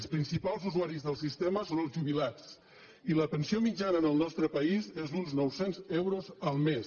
els principals usuaris del sistema són els jubilats i la pensió mitjana en el nostre país és d’uns nou cents euros el mes